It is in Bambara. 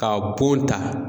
Ka bon ta.